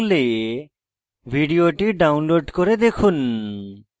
ভাল bandwidth না থাকলে ভিডিওটি download করে দেখুন